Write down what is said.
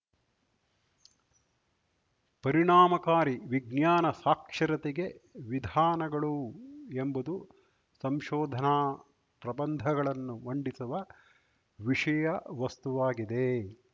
ಪರಿಣಾಮಕಾರಿ ವಿಜ್ಞಾನ ಸಾಕ್ಷರತೆಗೆ ವಿಧಾನಗಳು ಎಂಬುದು ಸಂಶೋಧನಾ ಪ್ರಬಂಧಗಳನ್ನು ಮಂಡಿಸುವ ವಿಷಯವಸ್ತುವಾಗಿದೆ